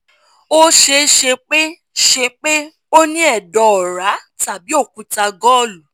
ó ṣeé ṣe pé ṣe pé o ní ẹdọ ọ̀ra tàbí okúta gọ́lu